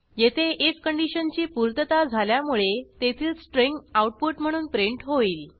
येथे आयएफ कंडिशनची पूर्तता झाल्यामुळे तेथील स्ट्रिंग आऊटपुट म्हणून प्रिंट होईल